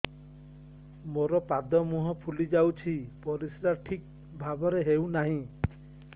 ମୋର ପାଦ ମୁହଁ ଫୁଲି ଯାଉଛି ପରିସ୍ରା ଠିକ୍ ଭାବରେ ହେଉନାହିଁ